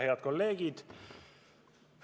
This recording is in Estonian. Head kolleegid!